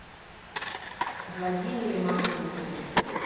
владимире масленникове